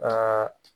Aa